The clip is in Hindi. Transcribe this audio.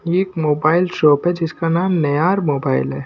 ये एक मोबाइल शॉप है जिसका नाम नयार मोबाइल है।